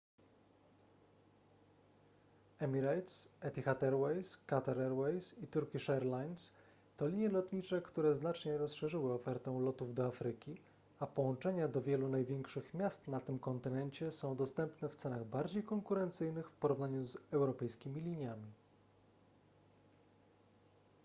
emirates etihad airways qatar airways i turkish airlines to linie lotnicze które znacznie rozszerzyły ofertę lotów do afryki a połączenia do wielu największych miast na tym kontynencie są dostępne w cenach bardziej konkurencyjnych w porównaniu z europejskimi liniami